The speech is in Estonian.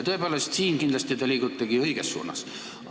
Tõepoolest, siin te kindlasti liigutegi õiges suunas.